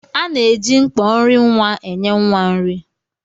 À na-eji mkpọ nri nwa enye nwa nri.